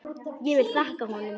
Ég vil þakka honum.